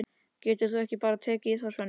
Getur þú ekki bara tekið í þá, Svenni?